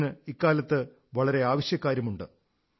ഇതിന് ഇക്കാലത്ത് വളരെ ആവശ്യക്കാരുണ്ട്